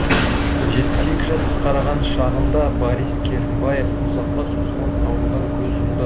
жетпіс екі жасқа қараған шағында борис керімбаев ұзаққа созылған аурудан көз жұмды